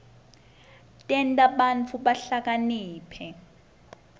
tenta bantfu bahlakaniphe